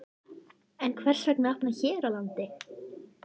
En hvers vegna að opna hér á landi?